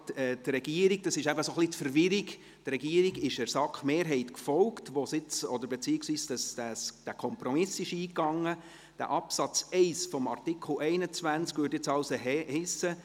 Er beachtet bei der Zuteilung von Zuständigkeitsbereichen und Aufgaben an die Direktionen insbesondere folgende Kriterien: